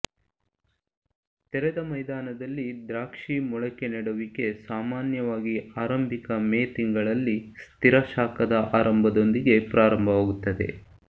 ತೆರೆದ ಮೈದಾನದಲ್ಲಿ ದ್ರಾಕ್ಷಿ ಮೊಳಕೆ ನೆಡುವಿಕೆ ಸಾಮಾನ್ಯವಾಗಿ ಆರಂಭಿಕ ಮೇ ತಿಂಗಳಲ್ಲಿ ಸ್ಥಿರ ಶಾಖದ ಆರಂಭದೊಂದಿಗೆ ಪ್ರಾರಂಭವಾಗುತ್ತದೆ